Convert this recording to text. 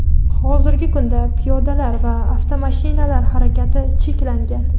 hozirgi kunda piyodalar va avtomashinalar harakati cheklangan.